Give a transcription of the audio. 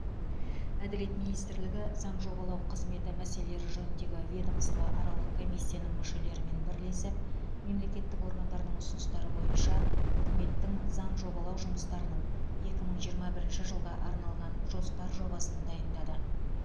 әділет министрлігі заң жобалау қызметі мәселелері жөніндегі ведомствоаралық комиссияның мүшелерімен бірлесіп мемлекеттік органдардың ұсыныстары бойынша үкіметтің заң жобалау жұмыстарының екі мың жиырма бірінші жылға арналған жоспар жобасын дайындады